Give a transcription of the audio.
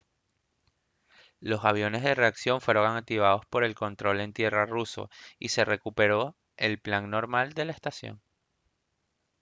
los aviones de reacción fueron activados por el control en tierra ruso y se recuperó el plan normal de la estación